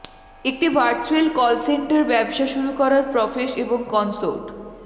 একটি virtual call centre ব্যবসা শুরু করার প্রফেস এবং কনসোর্ট